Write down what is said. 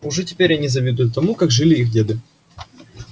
уже теперь они завидуют тому как жили их деды